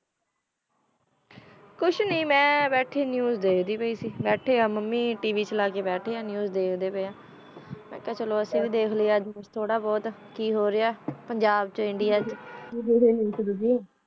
ਕੁਛ ਨਾਈ ਮੈਂ ਬੀਤੀ news ਦਯ੍ਕਦੀ ਪੇਇ ਸੇ ਬੀਤੀ ਆ ਮਮੀ tv ਚਲਾ ਕੀ ਬੇਯ੍ਟੀ ਆ news ਦਾਖ੍ਡੇ ਪੇਇ ਆ ਆਚ ਕਿਆ ਚਲੋ ਅਸੀਂ ਵ ਦਾਖ ਲੈ ਅਜੇ ਕੁਛ ਤੋਰਾ ਬੋਹਤ ਕੇ ਹੋ ਰੇਯ੍ਹਾ ਪੰਜਾਬ ਵਿਚ ਇੰਡੀਆ ਵਿਚ